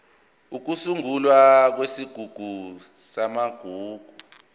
ukusungulwa kwesigungu samagugu